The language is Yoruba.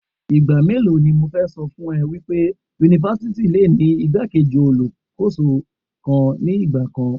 Ìgbà mélòó ni mo fẹ́ ṣọ fún ọ wípé Yunifásítì le ni igbá-kejì Alákóso kan ní ìgbà kan.